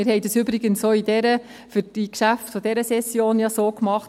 Wir haben es übrigens auch für die Geschäfte dieser Session gemacht: